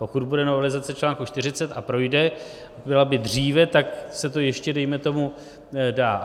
Pokud bude novelizace článku 40 a projde, byla by dříve, tak se to ještě dejme tomu dá.